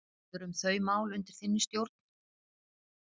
Hvað verður um þau mál undir þinni stjórn?